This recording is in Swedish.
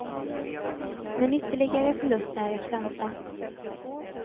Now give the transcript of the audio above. Men ytterligare förluster är att vänta.